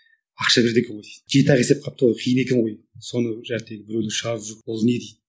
ақша береді екен ғой дейді жеті ақ есеп калыпты ғой қиын екен ғой соны біреулер шығарып жүр ол не дейді